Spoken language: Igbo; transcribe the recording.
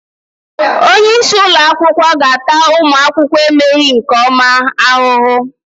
Onye isi ụlọ akwụkwọ ga-ata ụmụ akwụkwọ emeghị nke ọma ahụhụ.